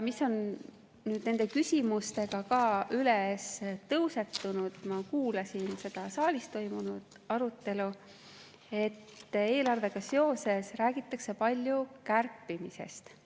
Mis on nüüd nende küsimustega ka tõusetunud, ma kuulasin seda saalis toimunud arutelu: eelarvega seoses räägitakse palju kärpimisest.